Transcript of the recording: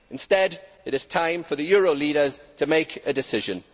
Instead, it is time for the euro leaders to make a decision.